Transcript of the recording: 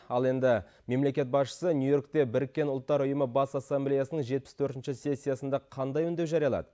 ал енді мемлекет басшысы нью йоркте біріккен ұлттар ұйымы бас ассамблеясының жетпіс төртінші сессиясында қандай үндеу жариялады